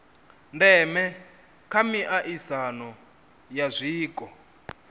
ndeme kha miaisano ya zwiko